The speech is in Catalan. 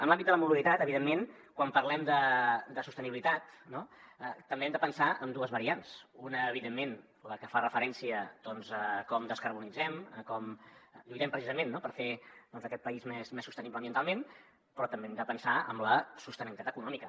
en l’àmbit de la mobilitat evidentment quan parlem de sostenibilitat no també hem de pensar en dues variants una evidentment la que fa referència doncs a com descarbonitzem a com lluitem precisament per fer aquest país més sostenible ambientalment però també hem de pensar en la sostenibilitat econòmica